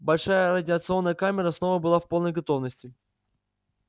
большая радиационная камера снова была в полной готовности